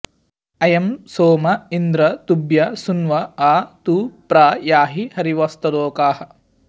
अ॒यं सोम॑ इन्द्र॒ तुभ्यं॑ सुन्व॒ आ तु प्र या॑हि हरिव॒स्तदो॑काः